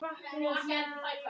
Var ekkert að marka það?